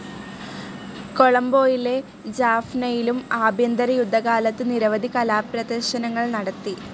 കൊളംബോയിലെ ജാഫ്‌നയിലും ആഭ്യന്തരയുദ്ധ കാലത്തു നിരവധി കലാപ്രേദര്ശനങ്ങൾ നടത്തി.